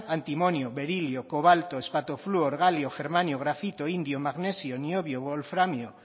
antimonio berilio cobalto espato flúor galio germanio grafito indio magnesio niobio volframio